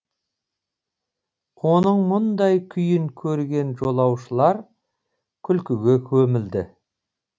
оның мұндай күйін көрген жолаушылар күлкіге көмілді